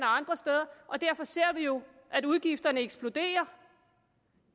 andre steder derfor ser vi jo at udgifterne eksploderer